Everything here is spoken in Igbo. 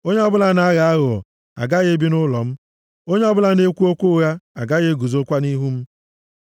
Onye ọbụla na-aghọ aghụghọ agaghị ebi nʼụlọ m; onye ọbụla na-ekwu okwu ụgha agaghị eguzokwa nʼihu m.